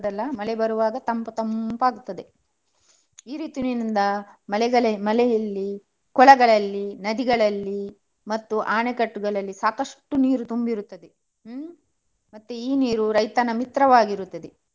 ಮಳೆ ಬರ್ವಾಗ ತಂಪು ತಂಪು ಆಗ್ತದೆ. ಈ ರೀತಿಯಿಂದ ಮಳೆಗಾಲ ಮಳೆಯಲ್ಲಿ ಕೊಳಗಳಲ್ಲಿ, ನದಿಗಳಲ್ಲಿ ಮತ್ತೆ ಆಣೆಕಟ್ಟುಗಳಲ್ಲಿ ಸಾಕಷ್ಟು ನೀರು ತುಂಬಿರುತ್ತದೆ. ಹ್ಮ್ ಮತ್ತೆ ಈ ನೀರು ರೈತನ ಮಿತ್ರವಾಗಿರುತ್ತದೆ.